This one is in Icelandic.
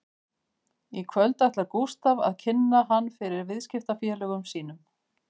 Í kvöld ætlar Gústaf að kynna hann fyrir viðskiptafélögum sínum